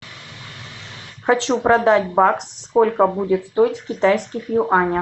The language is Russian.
хочу продать бакс сколько будет стоить в китайских юанях